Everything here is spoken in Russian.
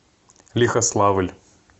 лихославль